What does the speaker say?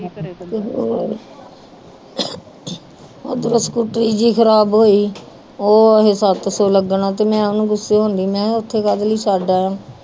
ਓਧਰ ਸਕੂਟਰੀ ਜੀ ਖਰਾਬ ਹੋਈ ਉਹ ਏਹੇ ਸੱਤ ਸੋ ਲੱਗਣਾ ਤੇ ਮੈਂ ਓਹਨੂੰ ਗੁੱਸੇ ਹੁੰਦੀ ਮੇਹਾ ਉਥੇ ਕਾਦੇ ਲਈ ਛੱਡ ਆਇਆ